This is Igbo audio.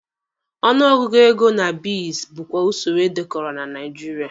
Ọnụ ọgụgụ ego na beads bụkwa usoro edekọrọ na Nigeria.